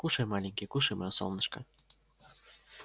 кушай маленький кушай моё солнышко